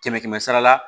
Kɛmɛ kɛmɛ sara la